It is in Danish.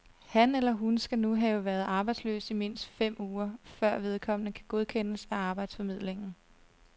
Han eller hun skal nu have været arbejdsløs i mindst fem uger, før vedkommende kan godkendes af arbejdsformidlingen.